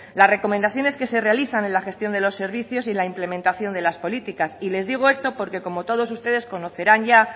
las recomendaciones que se realizan en la gestión de servicios y la implementación de las políticas y les digo esto porque como ustedes conocerán ya